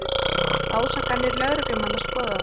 Ásakanir lögreglumanna skoðaðar